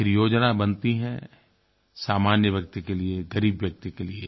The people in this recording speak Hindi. आखिर योजना बनती है सामान्य व्यक्ति के लिए ग़रीब व्यक्ति के लिए